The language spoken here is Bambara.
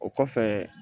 O kɔfɛ